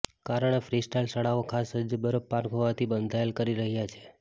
કારણે ફ્રીસ્ટાઇલ શાળાઓ ખાસ સજ્જ બરફ પાર્ક હોવાથી બંધાયેલ કરી રહ્યાં છે